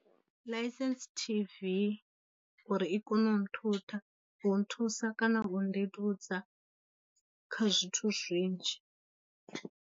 Ḽaisentse T_V uri i kone u mu nthutha, u nthusa kana u nndeludza kha zwithu zwinzhi.